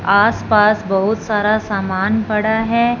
आस पास बहुत सारा सामान पड़ा है।